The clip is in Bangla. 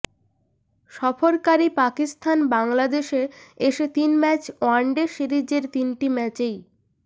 সফরকারী পাকিস্তান বাংলাদেশে এসে তিন ম্যাচ ওয়ানডে সিরিজের তিনটি ম্যাচেই